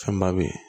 Fɛn ba be ye